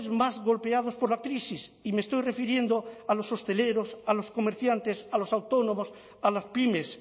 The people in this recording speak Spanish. más golpeados por la crisis y me estoy refiriendo a los hosteleros a los comerciantes a los autónomos a las pymes